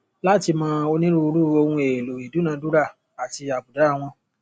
láti mọ onírúurú ohun èèlò ìdúnnàdúnrà àti àbùdá wọn